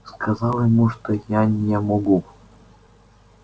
сказать ему что я не могу